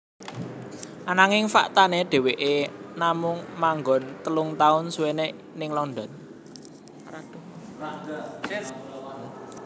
Ananging faktané dheweké namung manggon telung taun suwené ning London